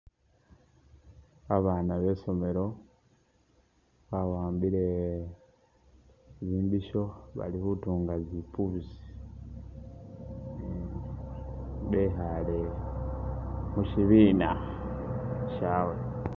Babaana besomelo bawambile imbisho bali khutunga "?" bekhale mushibuna shabwe